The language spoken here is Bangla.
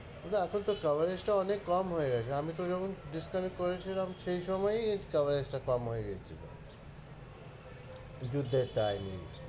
কিন্তু এখন তো coverage টাও অনেক কম হয়ে গেছে, আমি তো যখন disconnect করেছিলাম সেই সময়েই coverage টা কম হয়ে গেছিলো যুদ্ধের time এই